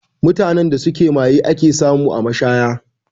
Mutanen da suke maye ake samu a mashaya